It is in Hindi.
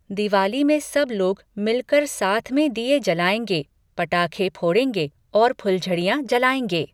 दिवाली में सब लोग मिलकर साथ में दिये जलाएंगे, पटाके फोड़ेंगे औऱ फुलझड़ियाँ जलाएंगे।